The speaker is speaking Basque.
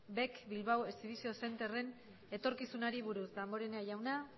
bec bilbao exhibition centreren etorkizunari buruz damborenea jauna